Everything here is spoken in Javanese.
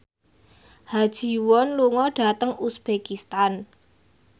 Ha Ji Won lunga dhateng uzbekistan